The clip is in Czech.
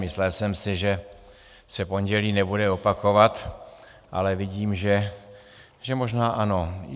Myslel jsem si, že se pondělí nebude opakovat, ale vidím, že možná ano.